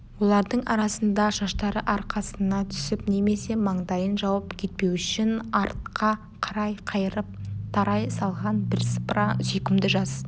олардың арасында шаштары арқасына түсіп немесе маңдайын жауып кетпеу үшін артқа қарай қайырып тарай салған бірсыпыра сүйкімді жас